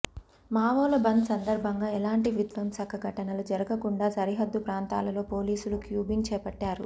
మావోల బంద్ సందర్భంగా ఎలాంటి విధ్వంసక ఘటనలు జరుగకుండా సరిహద్దు ప్రాంతాలలో పోలీసులు క్యూంబింగ్ చేపట్టారు